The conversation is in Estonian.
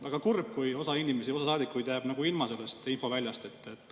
Väga kurb, kui osa inimesi, osa saadikuid jääb ilma sellest infost.